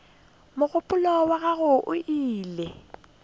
mogopolo wa gagwe o ile